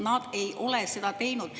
Nad ei ole seda teinud.